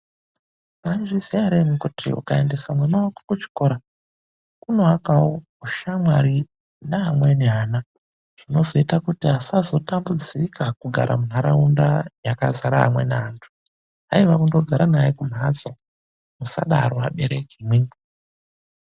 Mwaizviziya ere imwi kuti ukaendesa mwana wako kuchikora, kunoakawo ushamwari neamweni ana. Zvinozoita kuti asazotambudzika kugara mundaraunda yakazara amweni antu. Haiwa kundogara naye kumhatso, musadaro vabereki imwimwi.